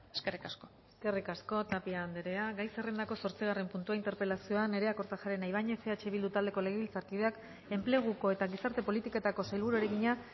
eskerrik asko eskerrik asko tapia andrea gai zerrendako zortzigarren puntua interpelazioa nerea kortajarena ibañez eh bildu taldeko legebiltzarkideak enpleguko eta gizarte politiketako sailburuari egina